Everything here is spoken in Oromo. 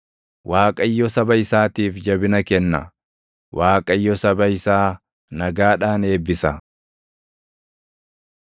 Waaqayyo saba isaatiif jabina kenna; Waaqayyo saba isaa nagaadhaan eebbisa.